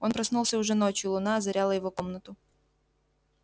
он проснулся уже ночью луна озаряла его комнату